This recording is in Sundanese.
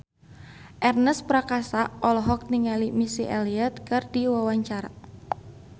Ernest Prakasa olohok ningali Missy Elliott keur diwawancara